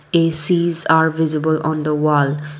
A_C's are visible on the wall.